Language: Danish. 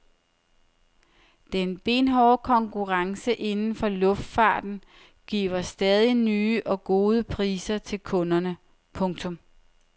Den benhårde konkurrence inden for luftfarten giver stadig nye og gode priser til kunderne. punktum